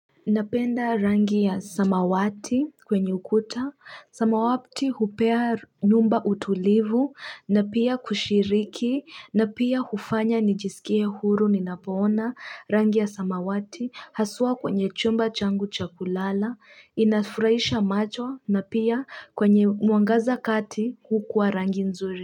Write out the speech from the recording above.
Napenda rangi ya samawati kwenye ukuta samawati hupea nyumba utulivu na pia kushiriki na pia hufanya nijisikie huru ninapoona rangi ya samawati haswa kwenye chumba changu cha kulala inafurahisha macho na pia kwenye mwangaza kati hukua rangi nzuri.